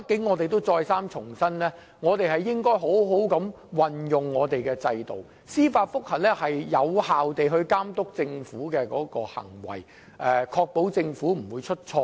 我們得再三重申，我們應好好運用這個制度，因為司法覆核可有效監督政府的行為，確保政府不會出錯。